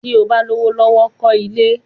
Tí o bá lówó lọ́wọ́, kọ́ ilé!